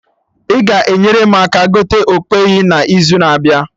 Ị ga enyere m aka gote okpeyi na izu na abịa?